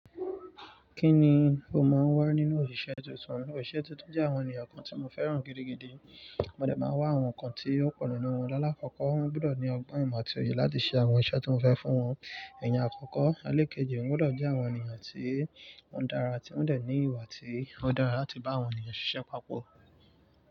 Kí ni o máa ń wá nínú òṣìṣẹ́ tuntun? Àwọn òṣìṣẹ́ tuntun jẹ́ àwọn ènìyàn kan tí mo fẹ́ràn gidigidi. Mo dẹ̀ máa wá àwọn nǹkan tí ó kọ̀rọ̀ nínú wọn. Láàlákọ́kọ́, wọ́n gbọdọ̀ ní ọgbọ́n ìmọ̀ ti oye láti ṣe àwọn iṣẹ́ tí mo fẹ́ fún wọn. Iyen àkọ́kọ́, àlékèje, wọn gbọdọ̀ jẹ́ àwọn ènìyàn tí wọ́n dára, tí wọ́n dè ní ìwà tí ó dára láti bá àwọn ènìyàn ṣisé papọ̀.